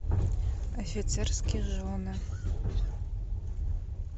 офицерские жены